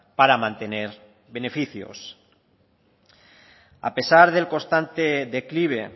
para mantener beneficios a pesar del constante declive